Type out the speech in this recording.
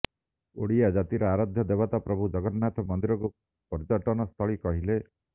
ଓଡ଼ିଆ ଜାତିର ଆରାଧ୍ୟ ଦେବତା ପ୍ରଭୁ ଜଗନ୍ନାଥ ମନ୍ଦିରକୁ ପର୍ଯ୍ୟଟନସ୍ଥଳୀ କହିଲେ